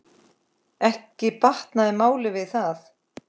Ekki batnar málið við það.